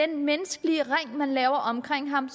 den menneskelige ring man har lavet omkring ham